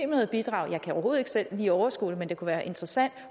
med et bidrag jeg kan overhovedet ikke selv lige overskue det men det kunne være interessant